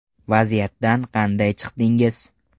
Vaziyatdan qanday chiqdingiz?